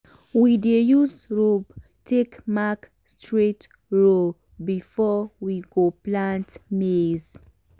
we dey use rope take mark straight row before we go plant maize.